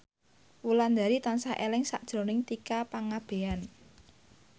Wulandari tansah eling sakjroning Tika Pangabean